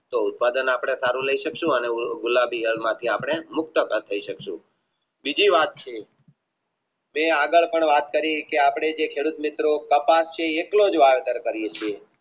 તો ઉત્પાદન આપણે સારું લાય સક્સુ અને ગુલાબી રંગમાંથી અપને મુક્ત કર થાય સક્સુ બીજી વાત છે જેઆગળ પણ વાત કરી છે કે ખેડૂત મિત્રો કટાક્ષે એટલો જ વાવેતર કરીયે છીએ